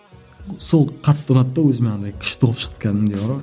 сол қатты ұнады да өзіме андай күшті болып шықты кәдімгідей бар ғой